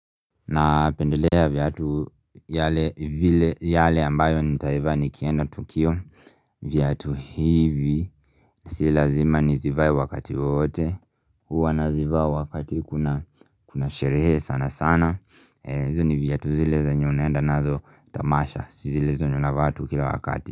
Napendelea viatu yale vike ambayo nitaiva nikienda Tukio viatu hivi Si lazima nizivae wakati wowote huwa nazivaa wakati kuna kuna sherehe sana sana hizi viatu zile zenye unaenda nazo tamasha Sizi zile zenye unavaa tu kila wakati.